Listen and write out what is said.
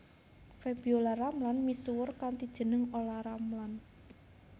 Febiola Ramlan misuwur kanthi jeneng Olla Ramlan